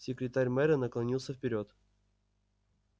секретарь мэра наклонился вперёд